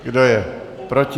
Kdo je proti?